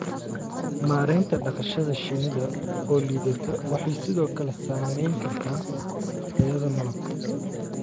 Maareynta dhaqashada shinnida oo liidata waxay sidoo kale saameyn kartaa tayada malabka.